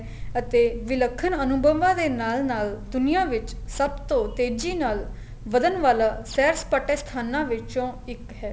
ਅਤੇ ਵਿਲਖਣ ਅਨੁਭਵਾ ਦੇ ਨਾਲ ਨਾਲ ਦੁਨੀਆਂ ਵਿੱਚ ਸਭ ਤੋਂ ਤੇਜੀ ਨਾਲ ਵਧਣ ਵਾਲਾ ਸੈਰ ਸਪਾਟੇ ਸਥਾਨਾ ਵਿੱਚੋ ਇੱਕ ਹੈ